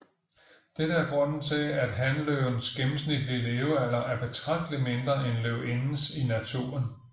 Dette er grunden til at hanløvens gennemsnitlige levealder er betragteligt mindre end løvindens i naturen